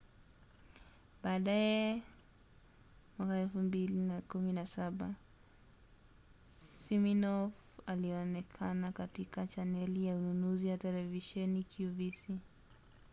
baadaye 2017 siminoff alionekana katika chaneli ya ununuzi ya televisheni qvc